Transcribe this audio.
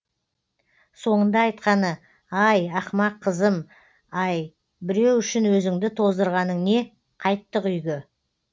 соңында айтқаны ай ақымақ қызым ай біреу үшін өзіңді тоздырғаның не қайттық үйге